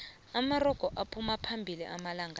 amarogo aphuma phambili amalanqala